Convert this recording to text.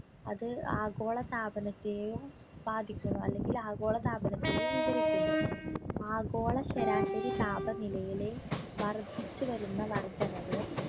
അത് ആഗോളതാപനത്തെയും ബാധിക്കുന്നു അല്ലെങ്കിൽ ആഗോളതാപനത്തെയും വിവരിക്കുന്നു ആഗോള ശരാശരി താപനിലയിലെ വർധിച്ചു വരുന്ന വർദ്ധനവ്